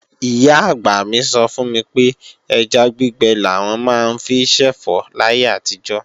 Ìyá-àgbà mi sọ fún mi pé ẹja gbígbẹ làwọn máa ń fi ṣẹ̀fọ́ láyé àtijọ́